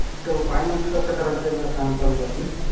तो finance कसं करायचा एकदा सांगता का तुम्ही?